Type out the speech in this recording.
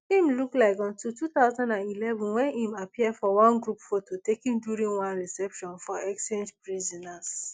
im look like until two thousand and eleven wen im appear for one group photo taken during one reception for exchanged prisoners